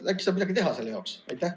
Äkki saab midagi teha selle jaoks?